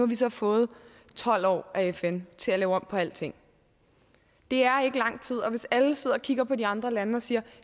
vi så fået tolv år af fn til at lave om på alting det er ikke lang tid og hvis alle sidder og kigger på de andre lande og siger